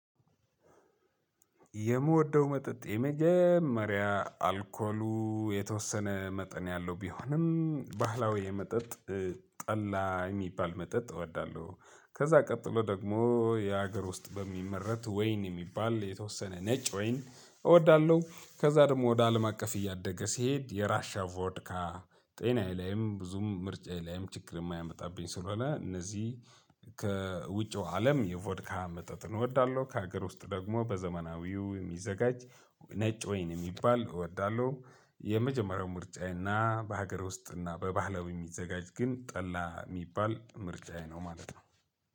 የምወደው መጠጥ የመጀመሪያ አልኮሉ የተወሰነ መጠን ያለው ቢሆንም ባህላዊ መጠጥ ጠላ የሚባል መጠጥ እወዳለሁ። ከዛ ቀጥሎ ደግሞ የሀገር ውስጥ በሚመረት ወይን የሚባል የተወሰነ ነጭ ወይን እወዳለሁ። ከዛ ደግሞ ወደ አለም አቀፍ እያደገ ሲሄድ የራሽያ ቮድካ ጤናዬ ላይም ብዙም ምርጫዬ ላይም ችግር የማያመጣብኝ ስለሆነ እነዚህ ከውጪው አለም የቮድካሃ ምጠጥን እወዳለሁ፤ ከሀገር ውስጥ ደግሞ በዘመናዊው የሚዘጋጅ ነጭ ወይን የሚባል እወዳለሁ። የመጀመሪያው ምርጫዬና በሀገር ውስጥና በባህላዊ የሚዘጋጅ ግን ጠላ የሚባል ምርጫዬ ነው ማለት ነው።